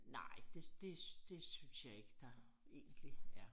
Nej det det syens jeg ikke der egentlig er